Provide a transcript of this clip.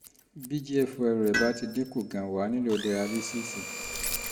bí gfr rẹ bá ti dín kù gan-an wà á nílò dayalísíìsì